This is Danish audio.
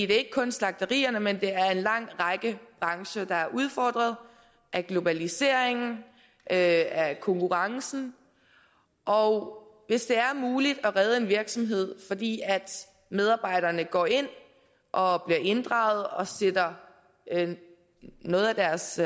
det er ikke kun slagterierne men en lang række brancher der er udfordret af globaliseringen af af konkurrencen og hvis det er muligt at redde en virksomhed fordi medarbejderne går ind og bliver inddraget og sætter noget af deres